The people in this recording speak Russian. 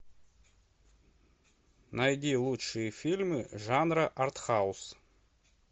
найди лучшие фильмы жанра артхаус